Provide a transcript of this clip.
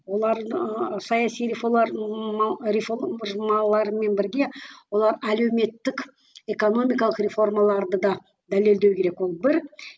олар ыыы саяси реформаларымен бірге олар әлеуметтік экономикалық реформаларды да дәлелдеу керек ол бір